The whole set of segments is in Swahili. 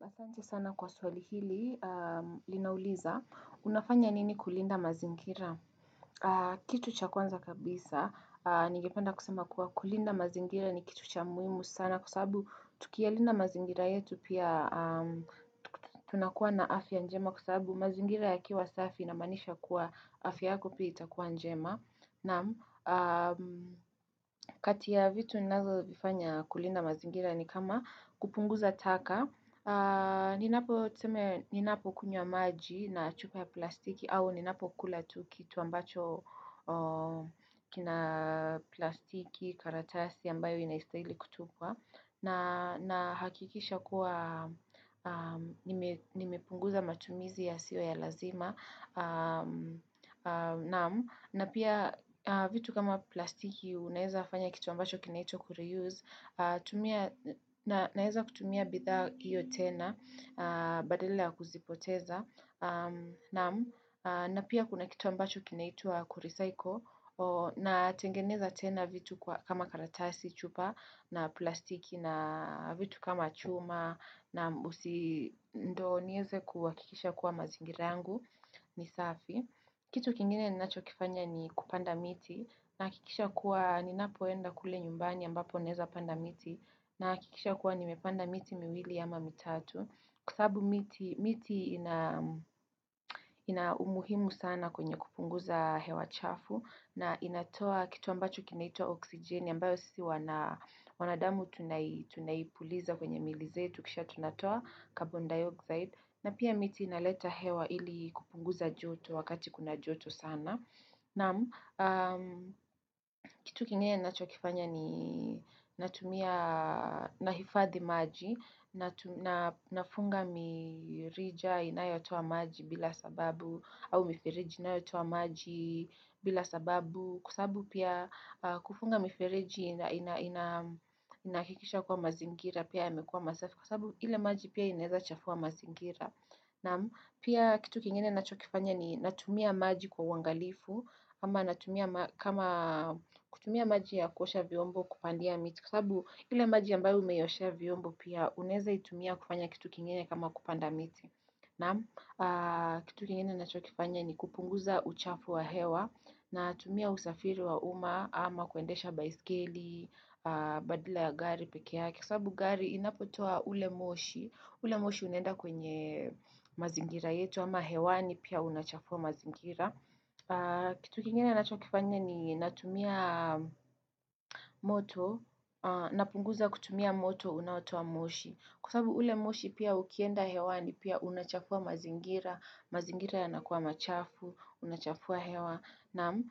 Naam asante sana kwa swali hili, linauliza, unafanya nini kulinda mazingira? Kitu cha kwanza kabisa, ningepanda kusema kuwa kulinda mazingira ni kitu cha muhimu sana kwa sababu tukiyalinda mazingira yetu pia tunakuwa na afya njema kwa sababu mazingira yakiwa safi inamaanisha kuwa afya yako pia itakuwa njema na kati ya vitu ninazovifanya kulinda mazingira ni kama kupunguza taka Ninapokunywa maji na chupa ya plastiki au ninapkula tu kitu ambacho kina plastiki karatasi ambayo inaistahili kutupwa na hakikisha kuwa nimepunguza matumizi yasiyo ya lazima na pia vitu kama plastiki unawezafanya kitu ambacho kinaitwa kulire-use naweza kutumia bidhaa hiyo tena badala ya kuzipoteza na pia kuna kitu ambacho kinaitwa kurecycle natengeneza tena vitu kama karatasi chupa na plastiki na vitu kama chuma na usi ndo niweze kuhakikisha kuwa mazingira yangu ni safi. Kitu kingine ninacho kifanya ni kupanda miti nahakikisha kuwa ninapoenda kule nyumbani ambapo naweza panda miti nahakikisha kuwa nimepanda miti miwili ama mitatu kwa sababu miti ina ina umuhimu sana kwenye kupunguza hewa chafu na inatoa kitu ambacho kinaitwa oksijeni ambayo sisi wanadamu tunaipuliza kwenye mili zetu kisha tunatoa carbon dioxide na pia miti inaleta hewa ili kupunguza joto wakati kuna joto sana. Naam, kitu kingine ninachokifanya ni natumia nahifadhi maji, na nafunga mirija inayotoa maji bila sababu, au miferiji inayotoa maji bila sababu, kwa sababu pia kufunga miferiji inahakikisha kuwa mazingira, pia yamekuwa masafi, kwa sababu ile maji pia inaweza chafua mazingira. Naam pia kitu kingine nachokifanya ni natumia maji kwa uangalifu ama natumia kama kutumia maji ya kuosha viombo kupandia miti kwa sababu ile maji ambayo umeioshea vyombo pia unaweza kutumia kufanya kitu kingine kama kupanda miti. Naam kitu kingine ninaachokifanya ni kupunguza uchafu wa hewa natumia usafiri wa umma ama kuendesha baiskeli, badala ya gari peke. Kwa sababu gari inapotoa ule moshi. Ule moshi unaenda kwenye mazingira yetu ama hewani pia unachafua mazingira. Kitu kingine ninachokifanya ni natumia moto Napunguza kutumia moto unaotoa moshi kwa sababu ule moshi pia ukienda hewani pia unachafua mazingira mazingira yanakuwa machafu, unachafua hewa naam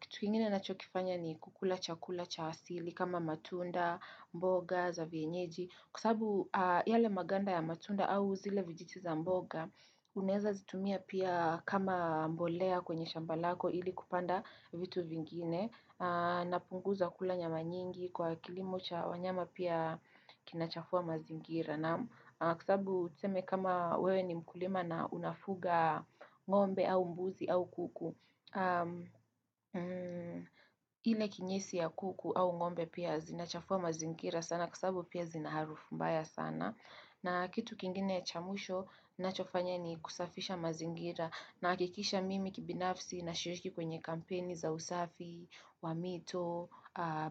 kitu kingine ninachokifanya ni kukula chakula cha asili kama matunda, mboga, za vienyeji kwa sababu yale maganda ya matunda au zile vijiti za mboga Unaweza zitumia pia kama mbolea kwenye shamba lako ili kupanda vitu vingine Napunguza kula nyama nyingi kwa kilimo cha wanyama pia kinachafua mazingira kwa sababu tuseme kama wewe ni mkulima na unafuga ngombe au mbuzi au kuku ile kinyesi ya kuku au ngombe pia zinachafua mazingira sana kwa sababu pia zinaharufu mbaya sana na kitu kingine cha mwisho ninachofanya ni kusafisha mazingira nahakikisha mimi kibinafsi nashirishiki kwenye kampeni za usafi, wa mito,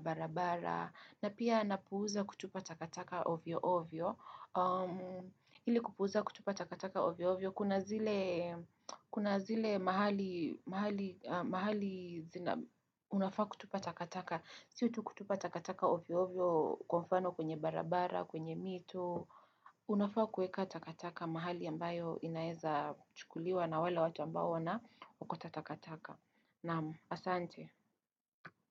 barabara, na pia napuuza kutupa takataka ovyo ovyo. Ili kupuuza kutupa takataka ovyo ovyo Kuna zile mahali mahali zina Unafaa kutupa takataka Sio tu kutupa takataka ovyo ovyo Kwa mfano kwenye barabara, kwenye mito Unafaa kuweka takataka mahali ambayo inaeza chukuliwa na wale watu ambao wanaokota takataka naam, asante.